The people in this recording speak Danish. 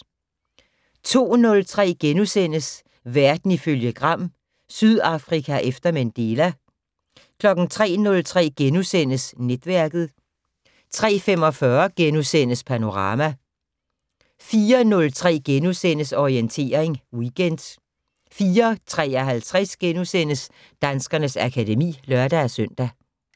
02:03: Verden ifølge Gram: Sydafrika efter Mandela * 03:03: Netværket * 03:45: Panorama * 04:03: Orientering Weekend * 04:53: Danskernes akademi *(lør-søn)